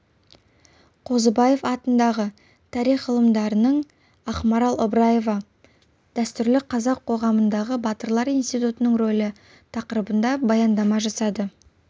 қозыбаев атындағы тарих ғылымдарының ақмарал ыбыраева дәстүрлі қазақ қоғамындағы батырлар институтының рөлі тақырыбында баяндама жасады